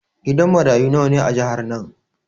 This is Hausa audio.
Gidan marayu nawa ne a jihar nan?